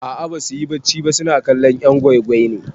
A'a basuyi bacci ba suna kallon 'yan gwai gwai ne.